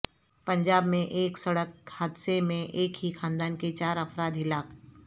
پنجاب میں ایک سڑک حادثے میں ایک ہی خاندان کے چار افراد ہلاک